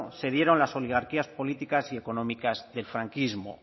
se dieron las oligarquías políticas y económicas del franquismo